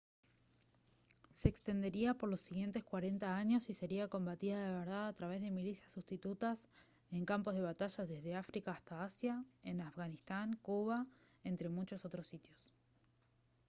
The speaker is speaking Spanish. se extendería por los siguientes 40 años y sería combatida de verdad a través de milicias substitutas en campos de batalla desde áfrica hasta asia en afganistán cuba entre muchos otros sitios